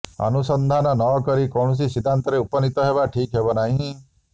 ଅନୁସନ୍ଧାନ ନ କରି କୌଣସି ସିଦ୍ଧାନ୍ତରେ ଉପନୀତ ହେବା ଠିକ୍ ହେବ ନାହିଁ